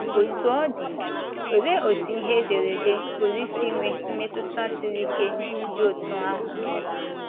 Otú ọ dị, olee otú ihe ederede pụrụ isi nwee mmetụta siri ike dị otú ahụ?